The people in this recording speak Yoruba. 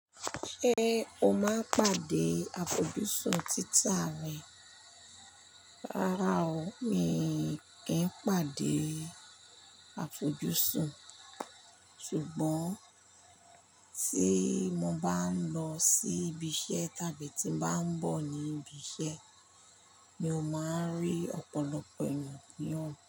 Ṣé o máa ń pàdé àfojúsùn títà rẹ? Rárá o, mi kì í pàdé àfojúsùn. Sugbon tí mo bá ń lọ sí ibi iṣẹ́ tàbí tí n bá ń bọ̀ ní ibi iṣẹ́, mi ò máa ń rí ọ̀pọ̀lọpọ̀ ènìyàn ní ọgbà.